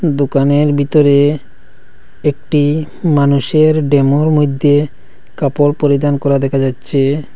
দোকানের ভিতরে একটি মানুষের ডেমোর মধ্যে কাপড় পরিধান করা দেখা যাচ্ছে।